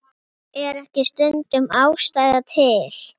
Hann lagði á flótta.